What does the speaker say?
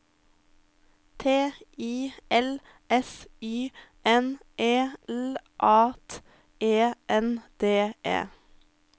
T I L S Y N E L A T E N D E